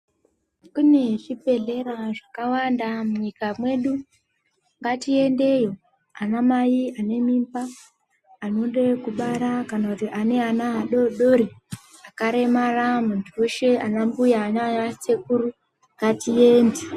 Kune zvibhedhlera zvakawanda munyika mwedu; ngatiendeyo anamai anemimba anode kubara kana kuti ane ana adoodori ,akaremara muntu weshe ana mbuya naana sekuru ngatiende.